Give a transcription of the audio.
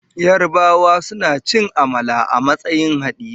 Yarabawa suna cin amala a matsayin haɗiye.